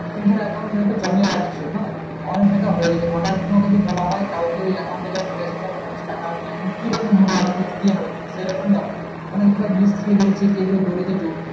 তুমি ধর account সেখানটাই জমিয়ে রাখছো হ্যাঁ? অনেক টাকা হয়ে গেছে আর তোমাকে যদি বলা হয় কালকে ওই account এ যা পরে আছে তা খালি টাকা আর নাই।